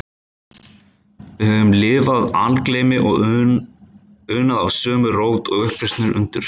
Við höfum lifað algleymi og unað af sömu rót og upprisunnar undur